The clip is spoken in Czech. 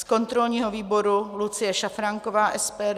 Z kontrolního výboru Lucie Šafránková - SPD.